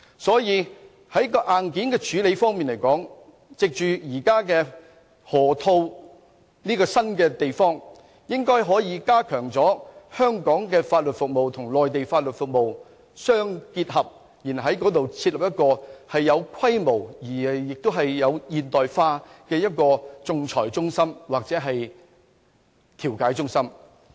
所以，在硬件方面，我們應該可以藉着河套這個新發展區，加強香港的法律服務與內地的法律服務融合，然後在該處設立一個有規模、現代化的仲裁中心或調解中心。